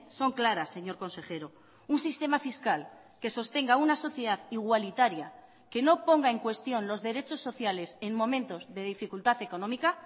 son claras señor consejero un sistema fiscal que sostenga una sociedad igualitaria que no ponga en cuestión los derechos sociales en momentos de dificultad económica